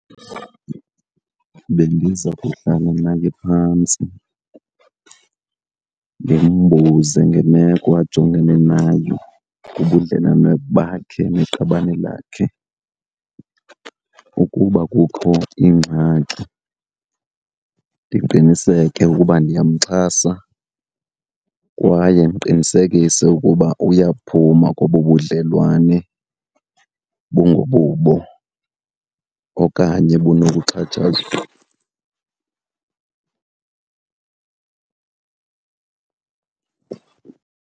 Bendiza kuhlala naye phantsi ndimbuze ngemeko ajongene nayo kubudlelwane bakhe neqabane lakhe. Ukuba kukho ingxaki ndiqiniseke ukuba ndiyamxhasa kwaye ndiqinisekise ukuba uyaphuma kobobudlelwane bungobubo okanye bunokuxhatshazwa.